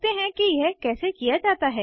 देखते हैं कि यह कैसे किया जाता है